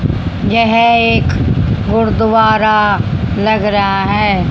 यह एक गुरुद्वारा लग रहा है।